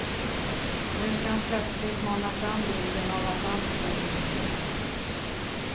Nu ska han plötsligt mana fram bilden av att allt står på spel.